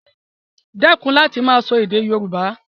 Dẹ́kun láti máa sọ èdè Yoruba